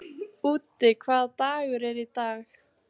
Úddi, hvaða dagur er í dag?